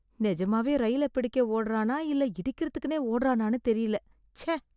நிஜமாவே ரயில பிடிக்க ஓடுறானா, இல்ல இடிக்கறதுக்குனே ஓடுறானான்னு தெரியல. ச்ச!